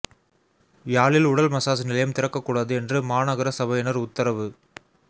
யாழில் உடல் மசாஜ் நிலையம் திறக்க கூடாது என்று மாநகர சபையினர் உத்தரவு